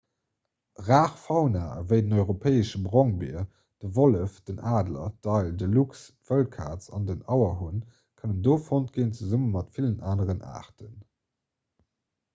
rar fauna ewéi den europäesche brongbier de wollef den adler d'éil de luchs d'wëllkaz an den auerhunn kënnen do fonnt ginn zesumme mat villen aneren aarten